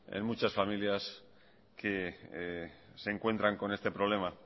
en muchas familias que se encuentran con este problema